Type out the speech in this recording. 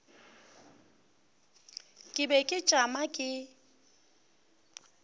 ke be ke tšama ke